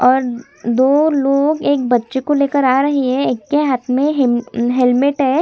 और दो लोग एक बच्चे को लेकर आ रहे है एक के हाथ में हेलमेट है।